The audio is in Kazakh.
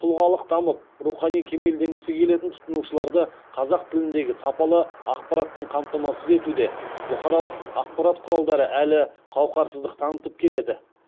тұлғалық дамып рухани кемелденгісі келетін тұтынушыларды қазақ тіліндегі сапалы ақпаратпен қамтамасыз етуде бұқаралық ақпарат құралдары әлі қауақарсыздық танытып келеді